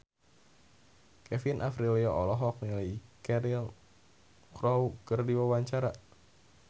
Kevin Aprilio olohok ningali Cheryl Crow keur diwawancara